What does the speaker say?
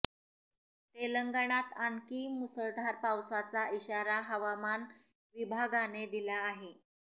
तेलंगणात आणकी मुसळधार पावसाचा इशारा हवामान विभागाने दिला आहे